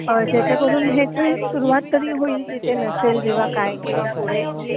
ज्याच्याकरून ह्याची सुरुवात तर होईल जिथे नसेल जेंव्हा काय किंवा पुढे